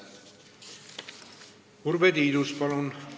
Urve Tiidus, palun!